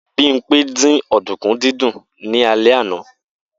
Bimpe dín ọ̀dùnkún ní alẹ́ àná.